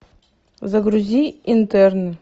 загрузи интерны